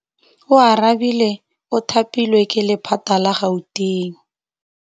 Oarabile o thapilwe ke lephata la Gauteng.